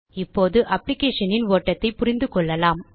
இப்போது applicationன் ஓட்டத்தைப் புரிந்து கொள்ளலாம்